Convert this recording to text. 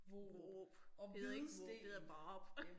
Vorup det hedder ikke det hedder Vorup